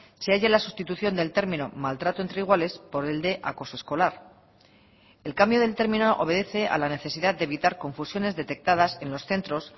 se haya la sustitución del término maltrato entre iguales por el de acoso escolar el cambio del término obedece a la necesidad de evitar confusiones detectadas en los centros